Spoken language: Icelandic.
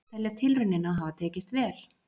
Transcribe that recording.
Telja tilraunina hafa tekist vel